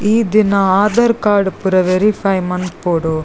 ಈ ದಿನ ಆಧಾರ್ ಕಾರ್ಡ್ ಪೂರ ವೇರಿಫೈ ಮನ್ಪೊಡು.